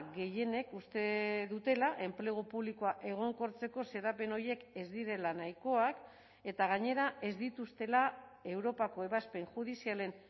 gehienek uste dutela enplegu publikoa egonkortzeko xedapen horiek ez direla nahikoak eta gainera ez dituztela europako ebazpen judizialen